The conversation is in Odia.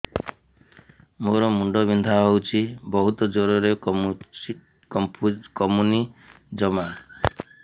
ମୋର ମୁଣ୍ଡ ବିନ୍ଧା ହଉଛି ବହୁତ ଜୋରରେ କମୁନି ଜମା